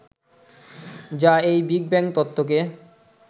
যা এই big bang তত্ত্বকে